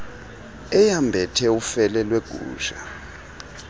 eyambethe ufele lwegusha